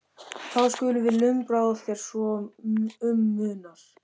Þá skulum við lumbra á þér svo um munar